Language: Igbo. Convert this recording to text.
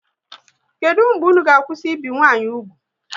Kedụ mgbe unu ga kwụsị ibi nwa nwanyi úgwù?